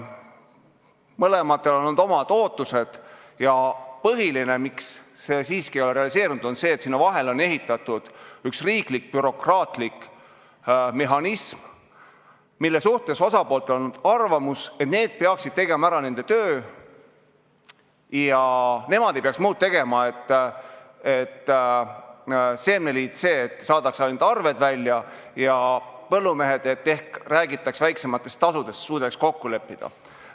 Mõlemal on olnud omad ootused ja põhiline, miks see siiski ei ole realiseerunud, on see, et sinna vahele on ehitatud riiklik bürokraatlik mehhanism, mille suhtes osapooltel on arvamus, et need peaksid tegema ära nende töö ja nemad ei peaks muud tegema, kui et seemneliit saadaks ainult arved välja ja põllumehed ehk tahaks, et räägitaks väiksematest tasudest, et suudaks kokku leppida.